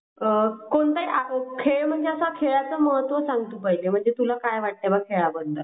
आ कोणता खेळ म्हणजे असा खेळाचे महत्व सांग पहिले मला म्हणजे तुला काय वाटते खेळ बद्दल.